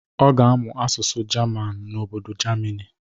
Ọ ga-amụ asụsụ jaman n'obodo jamini.